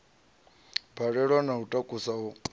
balelwa na u takusa u